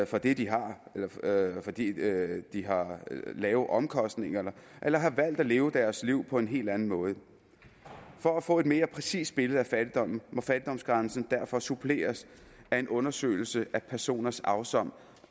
for det de har fordi de har lave omkostninger eller har valgt at leve deres liv på en helt anden måde for at få et mere præcist billede af fattigdommen må fattigdomsgrænsen derfor suppleres af en undersøgelse af personers afsavns